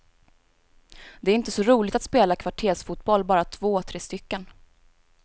Det är inte så roligt att spela kvartersfotboll bara två, tre stycken.